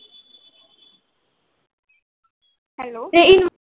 hello ते